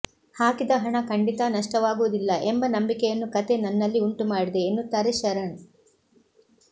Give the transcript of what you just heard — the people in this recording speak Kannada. ಹಾಕಿದ ಹಣ ಖಂಡಿತಾ ನಷ್ಟವಾಗುವುದಿಲ್ಲ ಎಂಬ ನಂಬಿಕೆಯನ್ನು ಕಥೆ ನನ್ನಲ್ಲಿ ಉಂಟು ಮಾಡಿದೆ ಎನ್ನುತ್ತಾರೆ ಶರಣ್